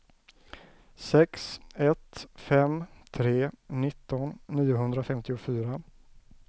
sex ett fem tre nitton niohundrafemtiofyra